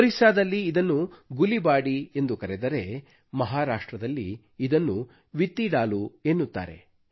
ಒರಿಸ್ಸಾದಲ್ಲಿ ಇದನ್ನು ಗುಲಿಬಾಡಿ ಎಂದು ಕರೆದರೆ ಮಹಾರಾಷ್ಟ್ರದಲ್ಲಿ ಇದನ್ನು ವಿತ್ತಿಡಾಲೂ ಎನ್ನುತ್ತಾರೆ